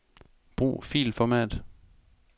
Brug filformat.